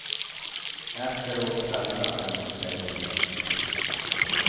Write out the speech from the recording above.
Efteråt tvättar man sig på nytt.